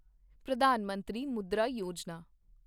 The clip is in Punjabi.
ਪ੍ਰਧਾਨ ਮੰਤਰੀ ਮੁਦਰਾ ਯੋਜਨਾ